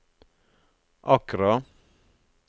Accra